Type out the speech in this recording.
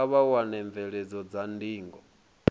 kha vha wane mvelelo dza ndingo